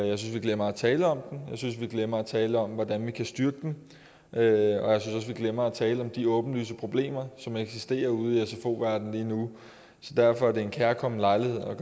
jeg synes vi glemmer at tale om den jeg synes vi glemmer at tale om hvordan vi kan styrke den og jeg synes også vi glemmer at tale om de åbenlyse problemer som eksisterer ude i sfo verdenen lige nu derfor er det en kærkommen lejlighed at